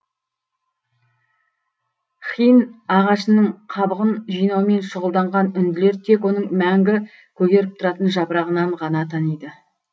хин ағашының қабығын жинаумен шұғылданған үнділер тек оның мәңгі көгеріп тұратын жапырағынан ғана таниды